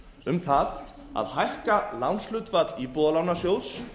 um það að hækka lánshlutfall íbúðalánasjóðs